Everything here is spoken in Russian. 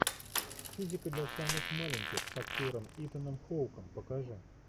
физика для самых маленьких с актером итаном хоуком покажи